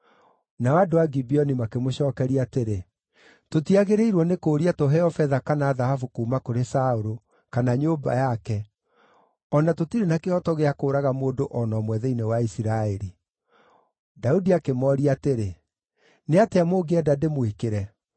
Nao andũ a Gibeoni makĩmũcookeria atĩrĩ, “Tũtiagĩrĩirwo nĩ kũũria tũheo betha kana thahabu kuuma kũrĩ Saũlũ, kana nyũmba yake, o na tũtirĩ na kĩhooto gĩa kũũraga mũndũ o na ũmwe thĩinĩ wa Isiraeli.” Daudi akĩmooria atĩrĩ, “Nĩatĩa mũngĩenda ndĩmwĩkĩre?”